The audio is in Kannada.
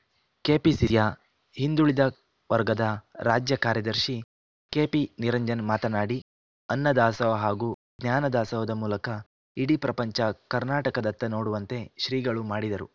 ಕೆಪಿಸಿಸಿಯ ಹಿಂದುಳಿದ ವರ್ಗದ ರಾಜ್ಯ ಕಾರ್ಯದಶಿ ಕೆಪಿ ನಿರಂಜನ್‌ ಮಾತನಾಡಿ ಅನ್ನ ದಾಸೋಹ ಹಾಗೂ ಜ್ಞಾನ ದಾಸೋಹದ ಮೂಲಕ ಇಡೀ ಪ್ರಪಂಚ ಕರ್ನಾಟಕದತ್ತ ನೋಡುವಂತೆ ಶ್ರೀಗಳು ಮಾಡಿದರು